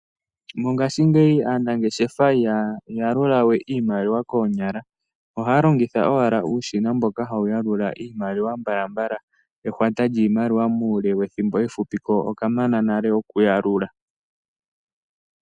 Mongaashingeyi aanangeshefa ihaya yaluluwe iimaliwa koonyala, ohaya longitha owala uushina mboka hawu yalula iimaliwa mbalambala, ehwata lyiimaliwa muule wethimbo efupi, ko okamana nale okuyalula.